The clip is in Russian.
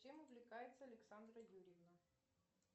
чем увлекается александра юрьевна